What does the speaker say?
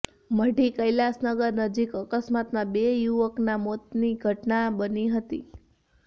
મઢી કૈલાસનગર નજીક અકસ્માતમાં બે યુવકના મોતની ઘટના બની હતી